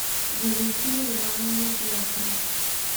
валентина ивановна дьякова